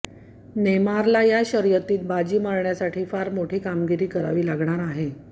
नेमारला या शर्यतीत बाजी मारण्यासाठी फार मोठी कामगिरी करावी लागणार आहे